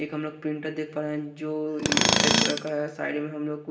एक हम लोग प्रिंटर देख पा रहे हैं जो सफेद कलर का है साइड में हम लोग कु--